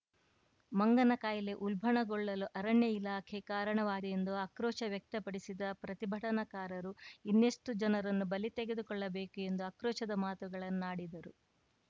ಮಂಗನ ಕಾಯಿಲೆ ಉಲ್ಭಣಗೊಳ್ಳಲು ಅರಣ್ಯ ಇಲಾಖೆ ಕಾರಣವಾಗಿದೆ ಎಂದು ಆಕ್ರೋಶ ವ್ಯಕ್ತಪಡಿಸಿದ ಪ್ರತಿಭಟನಾಕಾರರು ಇನ್ನೆಷ್ಟುಜನರನ್ನು ಬಲಿ ತೆಗೆದುಕೊಳ್ಳಬೇಕು ಎಂದು ಆಕ್ರೋಶದ ಮಾತುಗಳನ್ನಾಡಿದರು